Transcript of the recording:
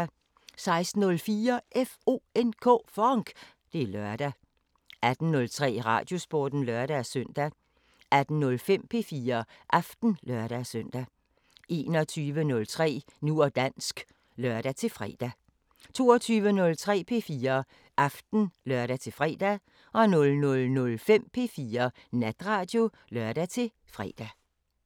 16:04: FONK! Det er lørdag 18:03: Radiosporten (lør-søn) 18:05: P4 Aften (lør-søn) 21:03: Nu og dansk (lør-fre) 22:03: P4 Aften (lør-fre) 00:05: P4 Natradio (lør-fre)